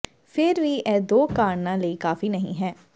ਫਿਰ ਵੀ ਇਹ ਦੋ ਕਾਰਣਾਂ ਲਈ ਕਾਫੀ ਨਹੀਂ ਹੈ